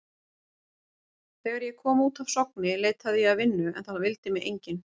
Þegar ég kom út af Sogni leitaði ég að vinnu en það vildi mig enginn.